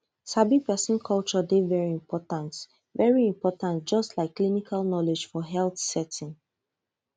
sabi person culture dey very important very important just like clinical knowledge for health setting